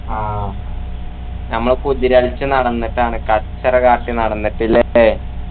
ആഹ് നമ്മളെ കുതിരകളിച്ചു നടന്നിട്ടാണ് കച്ചറ കാട്ടി നടന്നിട്ട് ഇല്ലേ